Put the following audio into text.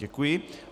Děkuji.